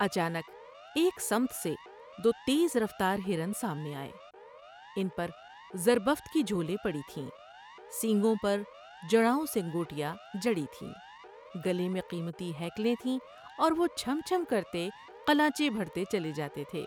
اچانک ایک سمت سے دو تیز رفتار ہرن سامنے آۓ۔ ان پر زربفت کی جھولیں پڑی تھیں سینگوں پر جڑاؤں سنگوٹیا جڑی تھیں ، گلے میں قیمتی ہیکلیں تھیں اور وہ چم چم کر تے قلانچیں بھرتے چلے جاتے تھے ۔